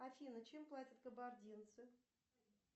афина чем платят кабардинцы